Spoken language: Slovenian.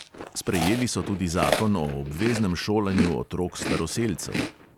Sprejeli so tudi zakon o obveznem šolanju otrok staroselcev.